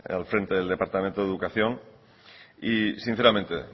al frente del departamento de educación y sinceramente